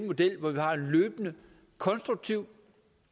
model hvor vi har en løbende konstruktiv